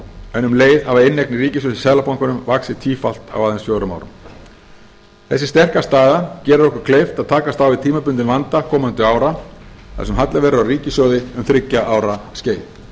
en um leið hafa inneignir ríkissjóðs í seðlabankanum vaxið tífalt á aðeins fjórum árum þessi sterka staða gerir okkur kleift að takast á við tímabundinn vanda komandi ára þar sem halli verður á ríkissjóði um þriggja ára skeið